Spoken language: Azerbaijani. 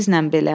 Sizlə belə.